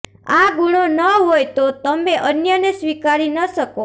આ ગુણો ન હોય તો તમે અન્યને સ્વીકારી ન શકો